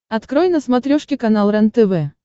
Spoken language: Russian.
открой на смотрешке канал рентв